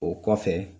O kɔfɛ